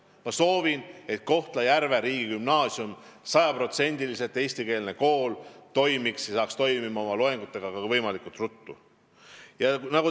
Ma soovin, et Kohtla-Järve riigigümnaasium kui sajaprotsendiliselt eestikeelne kool hakkaks võimalikult ruttu tööle.